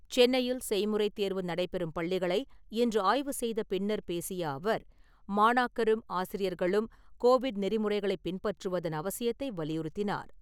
சென்னையில் செய்முறை தேர்வு நடைபெறும் பள்ளிகளை இன்று ஆய்வு செய்த பின்னர் பேசிய அவர், மாணாக்கரும், ஆசிரியர்களும் கோவிட் நெறிமுறைகளை பின்பற்றுவதன் அவசியத்தை வலியுறுத்தினார்.